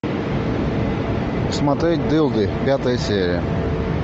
смотреть дылды пятая серия